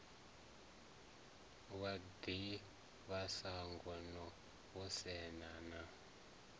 wa ḓivhashango no vhonesa na